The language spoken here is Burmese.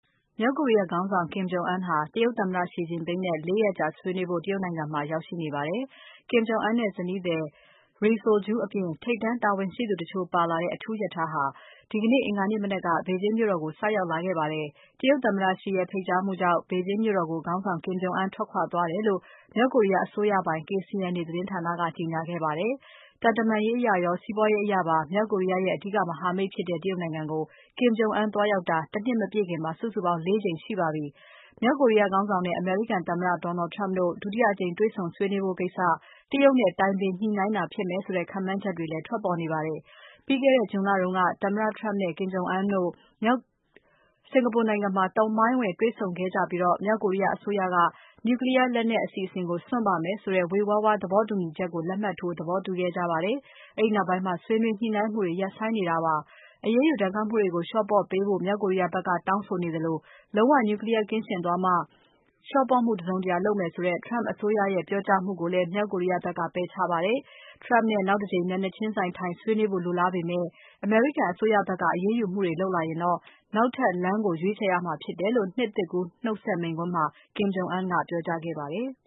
မြောက်ကိုရီးယားခေါင်းဆောင် Kim Jong Un ဟာတရုတ်သမ္မတ Xi Jinping နဲ့ ၄ ရက်ကြာဆွေးနွေးဖို့ တရုတ်နိုင်ငံမှာ ရောက်ရှိနေပါတယ်။ Kim Jong Un နဲ့ဇနီးသည် Ri Sol Ju အပြင် ထိပ်တန်းအရာရှိတချို့ပါလာတဲ့ အထူးရထားဟာ ဒီကနေ့ အင်္ဂါနေ့မနက်က ဘေဂျင်းမြို့တော်ကို ဆိုက်ရောက်လာခဲ့ပါတယ်။ တရုတ်သမ္မတ Xi ရဲ့ဖိတ်ကြားမှုကြောင့် ဘေဂျင်းမြို့တော်ကို ခေါင်းဆောင် Kim Jong Un ထွက်ခွာသွားတယ်လို့ မြောက်ကိုရီးယားအစိုးရပိုင် KCNA သတင်းဌာနက ကြေညာခဲ့ပါတယ်။ သံတမန်ရေးအရရော စီးပွားရေးအရပါ မြောက်ကိုရီးယားရဲ့ အဓိကမဟာမိတ်ဖြစ်တဲ့ တရုတ်နိုင်ငံကို Kim Jong Un သွားရောက်တာ ၁ နှစ်မပြည့်ခင် စုစုပေါင်း ၄ ကြိမ်ရှိပါပြီ။ မြောက်ကိုရီးယားခေါင်းဆောင်နဲ့ အမေရိကန်သမ္မတ Donald Trump တို့ ဒုတိယအကြိမ်တေ့ွဆုံကြဖို့ကိစ္စ တရုတ်နဲ့ တိုင်ပင်ညှိုနှိုင်းတာဖြစ်မယ်ဆိုတဲ့ ခန့်မှန်းချက်တွေလည်း ထွက်ပေါ်နေပါတယ်။ ပြီးခဲ့တဲ့ June လတုန်းက သမ္မတ Trump နဲ့ Kim Jong Un တို့မြောက်ကိုရီးယားမှာ သမိုင်းဝင်တေ့ွဆုံခဲ့ကြပြီး မြောက်ကိုရီးယားအစိုးရက Nuclear လက်နက်အစီအစဉ်ကို စွန့်ပါမယ်ဆိုတဲ့ဝေဝါးဝါး သဘောတူညီချက်ကို လက်မှတ်ထိုး သဘောတူခဲ့ကြပါတယ်။ အဲဒီနောက်ပိုင်း ဆွေးနွေးညှိုနှိုင်းမှုတွေ ရပ်ဆိုင်းနေတာပါ။ အရေးယူဒဏ်ခတ်မှုတွေကို လျော့ပေါ့ပေးဖို့ မြောက်ကိုရီးယားဖက်က တောင်းဆိုနေသလို၊ လုံးဝ Nuclear ကင်းရှင်းသွားမှ လျော့ပေါ့မှု တစုံတရာလုပ်မယ်ဆိုတဲ့ Trump အစိုးရရဲ့ပြောကြားမှုကိုလည်း မြောက်ကိုရီးယားဖက်က ပယ်ချခဲ့ပါတယ်။ Trump နဲ့နောက်တကြိမ် မျက်နှာချင်းဆိုင်ထိုင်ဆွေးနွေးဖို့ လိုလားပေမဲ့ အမေရိကန်အစိုးရဖက်က အရေးယူမှုတွေလုပ်လာရင်တော့ နောက်ထပ်လမ်းကို ရွေးချယ်ရမှာဖြစ်တယ်လို့ နှစ်သစ်ကူးနှုတ်ဆက်မိန့်ခွန်းမှာ Kim Jong Un ကပြောကြားခဲ့ပါတယ်။